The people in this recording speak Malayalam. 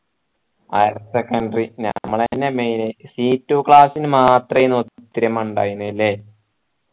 higher secondary ഞമ്മളെന്നെ main c two class നു മാത്രേ ഒത്തൊരുമയുണ്ടായിന് ആയിന് അല്ലെ